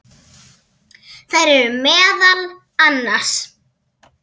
Þær eru meðal annars